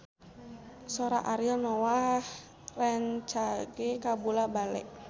Sora Ariel Noah rancage kabula-bale